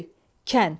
Köy, kənd.